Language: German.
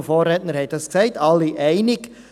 Die Vorrednerinnen und Vorredner haben es gesagt.